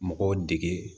Mɔgɔw dege